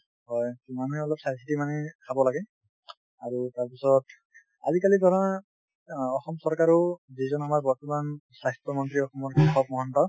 হয়, মানুহে অলপ চাই চিতি মানে খাব লাগে আৰু তাৰ পিছত আজিকালি ধৰা অ অসম চৰকাৰেও যিজন আমাৰ বৰ্তমানৰ স্বাস্থ্যমন্ত্ৰী অসমৰ কেশৱ মহন্ত